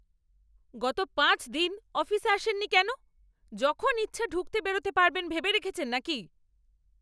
গত পাঁচ দিন অফিসে আসেননি কেন? যখন ইচ্ছা ঢুকতে বেরোতে পারবেন ভেবে রেখেছেন নাকি?